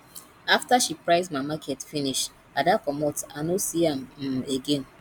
after she price my market finish ada comot i no see am um again